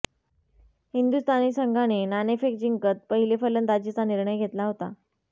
हिंदुस्थानी संघाने नाणेफेक जिंकत पहिले फलंदाजीचा निर्णय घेतला होता